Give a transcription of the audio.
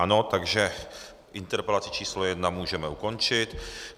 Ano, takže interpelaci číslo jedna můžeme ukončit.